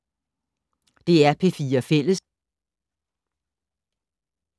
DR P4 Fælles